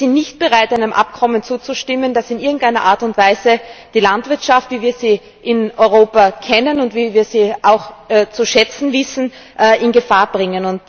Wir sind nicht bereit, einem Abkommen zuzustimmen, das in irgendeiner Art und Weise die Landwirtschaft, wie wir sie in Europa kennen und wie wir sie auch zu schätzen wissen, in Gefahr bringt.